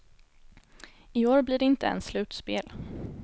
I år blir det inte ens slutspel.